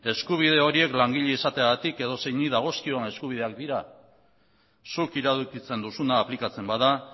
eskubide horiek langile izateagatik edozeini dagozkion eskubideak dira zuk iradokitzen duzuna aplikatzen bada